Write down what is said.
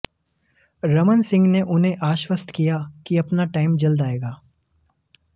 रमन सिंह ने उन्हें आश्वस्त किया कि अपना टाईम जल्द आएगा